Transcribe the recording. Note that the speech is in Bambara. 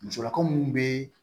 Musolakaw minnu bɛ